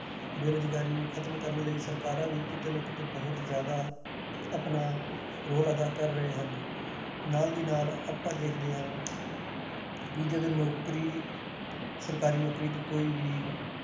ਬੇਰੁਜ਼ਗਾਰੀ ਨੂੰ ਖ਼ਤਮ ਕਰਨ ਲਈ ਸਰਕਾਰਾਂ ਵੀ ਕਿਤੇ ਨਾ ਕਿਤੇ ਬਹੁਤ ਜ਼ਿਆਦਾ ਆਪਣਾ role ਅਦਾ ਕਰ ਰਹੇ ਹਨ ਨਾਲ ਦੀ ਨਾਲ ਆਪਾਂ ਦੇਖਦੇ ਹਾਂ ਕਿ ਜਦੋਂ ਨੌਕਰੀ ਸਰਕਾਰੀ ਨੌਕਰੀ ਤੋਂ ਕੋਈ ਵੀ